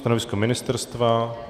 Stanovisko ministerstva?